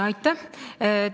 Aitäh!